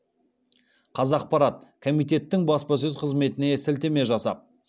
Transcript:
қазақпарат комитеттің баспасөз қызметіне сілтеме жасап